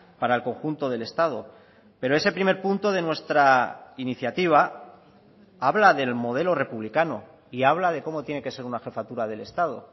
para el conjunto del estado pero ese primer punto de nuestra iniciativa habla del modelo republicano y habla de cómo tiene que ser una jefatura del estado